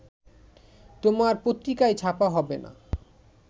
তোমার পত্রিকাই ছাপা হবে না